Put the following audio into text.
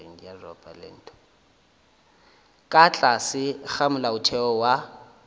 ka tlase ga molaotheo wa